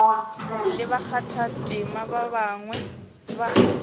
le bakgathatema ba bangwe ba